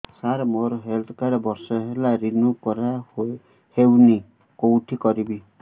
ସାର ମୋର health card ବର୍ଷେ ହେଲା ରିନିଓ କରା ହଉନି କଉଠି କରିବି